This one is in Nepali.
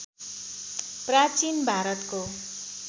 प्राचीन भारतको